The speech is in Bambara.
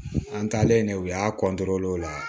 An talen de u y'a o la